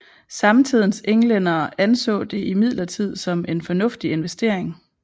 Samtidens englændere anså det imidlertid som en fornuftig investering